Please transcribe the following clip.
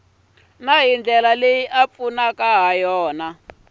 na hi ndlela leyi pfunaka